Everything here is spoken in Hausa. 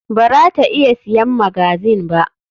Bara ta iya siyan magazine ba.